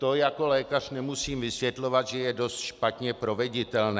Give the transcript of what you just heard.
To jako lékař nemusím vysvětlovat, že je dost špatně proveditelné.